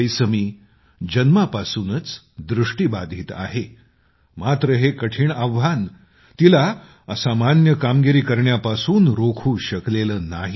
कैसमी जन्मापासूनच दृष्टीबाधित आहे मात्र हे कठीण आव्हान तिला असामान्य कामगिरी करण्यापासून रोखू शकलेलं नाही